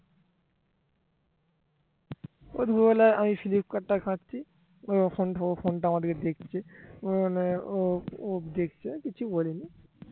ওর বদলে আমি ফ্লিপকাত টা ঘাঁটছি ও ফোনটা আমার দিকে দেখছে। ও মনে হয় ও দেখছে আমি কিছু বলিনি।